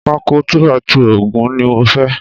Pákó 2 by 2 ogún ni mo fẹ́